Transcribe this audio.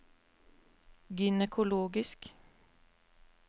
gynekologisk